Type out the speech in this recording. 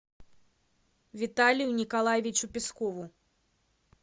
виталию николаевичу пескову